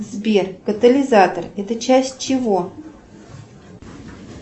сбер катализатор это часть чего